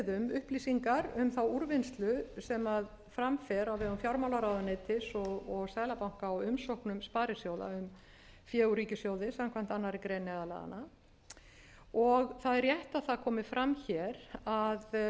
upplýsingar um þá úrvinnslu sem fram fer á vegum fjármálaráðuneytis og seðlabanka á umsóknum sparisjóða um fé úr ríkissjóði samkvæmt annarri grein neyðarlaganna og það er rétt að það komi fram hér að upplýst var